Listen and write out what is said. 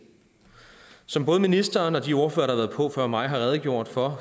som både ministeren og de ordførere der har været på før mig har redegjort for